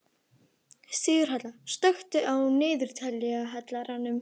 Sigurhelga, slökktu á niðurteljaranum.